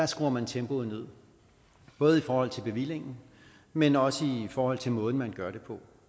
skruer man tempoet ned både i forhold til bevillingen men også i forhold til måden man gør det på